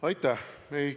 Aitäh!